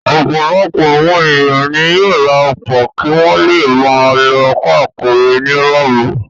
Ọ̀pọ̀lọpọ̀ àwọn ènìyàn ni yóò ra ọkọ̀ kí wọ́n le máa lọ káàkiri nírọ̀rùn.